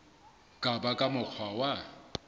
ka ba ka mokgwa wa